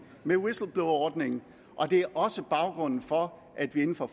med whistleblowerordningen og det er også baggrunden for at vi inden for